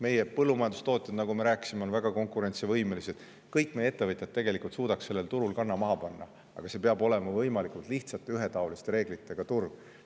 Meie põllumajandustootjad, nagu me rääkisime, on väga konkurentsivõimelised, kõik meie ettevõtjad suudaksid tegelikult sellel turul kanna maha panna, aga see peab olema võimalikult lihtsate ja ühetaoliste reeglitega turg.